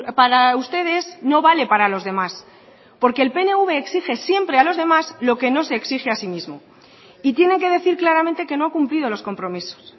para ustedes no vale para los demás porque el pnv exige siempre a los demás lo que no se exige a sí mismo y tienen que decir claramente que no ha cumplido los compromisos